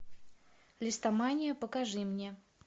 листомания покажи мне